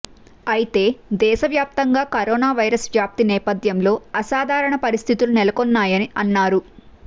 అయితే దేశ వ్యాప్తంగా కరోనా వైరస్ వ్యాప్తి నేపథ్యంలో అసాధారణ పరిస్థితులు నెలకొన్నాయని అన్నారు